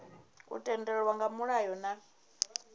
u tendelwa nga mulayo na